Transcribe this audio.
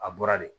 A bɔra de